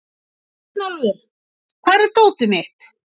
Björnólfur, hvar er dótið mitt?